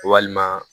Walima